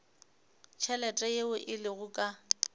tšhelete yeo e lego ka